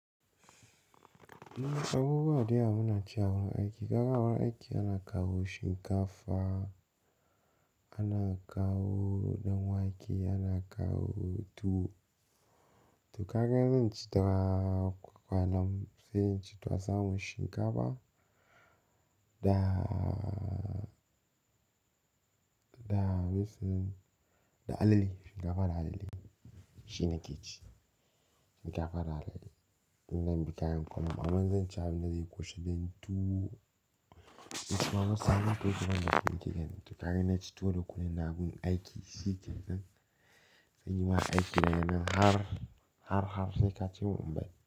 Abubuwa dayawa munaci a wurin aiki. A wurin aiki ana kawo shinkafa, ana kawo ɗanwake, ana kawo tuwo. To kaka zan ci daga kwakwalan sai ci tuwa sama shinkafa da, da me suna, da alale, shinkafa da alale shi nake ci. Shinkafa da alale. Nan ba kayan kwano ba. Amma zan ci abin da zai kwashe dan tuwo. To suna sa ni tozuwa na fenti ganin to ka gani na ci to da kunne na gun aiki, shi ke zan, zanyi wa aiki yana har, har, harshe ka ce wa Mumbai.